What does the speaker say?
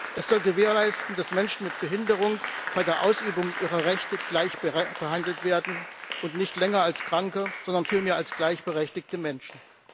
Es soll gewährleisten, dass Menschen mit Behinderung bei der Ausübung ihrer Rechte gleich behandelt werden und nicht länger als Kranke, sondern vielmehr als gleichberechtigte Menschen.